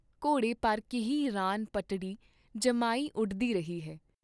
ਘੋੜੇ ਪਰ ਕੀਹੀ ਰਾਨ ਪਟੜੀ ਜਮਾਈ ਉਡਦੀ ਰਹੀ ਹੈ।